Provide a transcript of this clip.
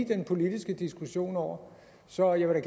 den politiske diskussion over så jeg vil